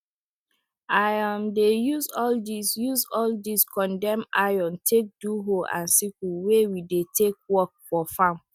i um dey use all dis use all dis condemn iron take do hoe and sickle wey we dey take work for farm